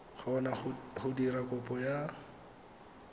kgona go dira kopo ya